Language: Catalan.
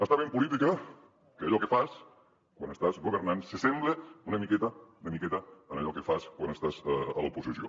està bé en política que allò que fas quan estàs governant s’assembli una miqueta una miqueta a allò que fas quan estàs a l’oposició